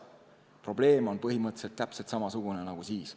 Probleem on põhimõtteliselt täpselt samasugune, nagu siis.